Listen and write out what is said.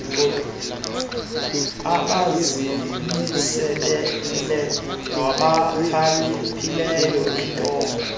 abazimiseleyo nabakhaliphileyo iintonga